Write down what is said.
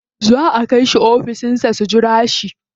Za a kai su ofishin sa su jira shi.